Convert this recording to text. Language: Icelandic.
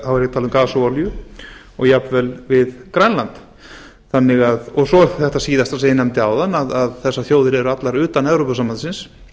tala um gas og olíu og jafnvel við grænland svo er þetta síðasta sem ég nefndi áðan að þessar þjóðir eru allar utan evrópusambandsins